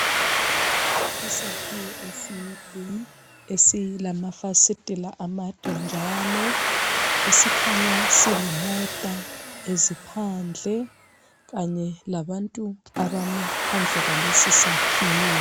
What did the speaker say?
Isakhiwo eside esilamafasitela amade njalo esikhanya silemota eziphandle kanye labantu abame phandle kwalesisakhiwo.